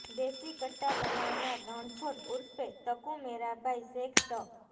દેશી કટ્ટા બનાવનાર રણછોડ ઉર્ફે તકુ મેરાભાઈ શેખ ત